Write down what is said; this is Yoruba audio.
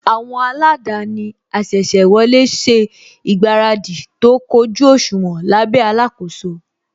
Àwọn aladaani asese wọlé ṣe ìgbáradì tó kójú òṣùwọ̀n lábẹ́ alakoso